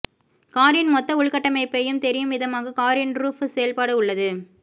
காரின் மொத்த உள்கட்டமைப்பையும் தெரியும் விதமாக காரின் ரூஃப் செயல்பாடு உள்ளது